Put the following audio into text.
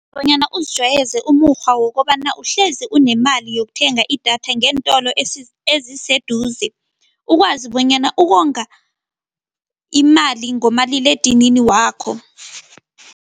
Bonyana uzijwayeze umukghwa wokobana uhlezi unemali yokuthenga idatha ngeentolo eziseduze ukwazi bonyana ukonga imali ngomaliledinini wakho.